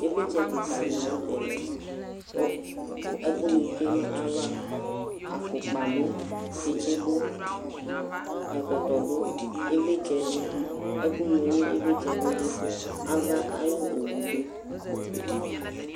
Ivlitsɛ kika di latɛ lɛ ku ɛkuni tsué na ya va afukpa du tsitsi du ɛkɔtɔ du ivlitsɛ du ɛku hlo ivlitsɛ bi du ava ayu owu bi du